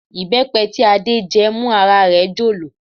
Ìbẹ́pẹ tí Adé jẹ́ mú ara rẹ̀ jọ̀lọ̀